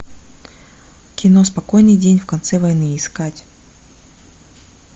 кино спокойный день в конце войны искать